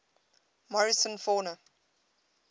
morrison fauna